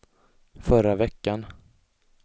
förra veckan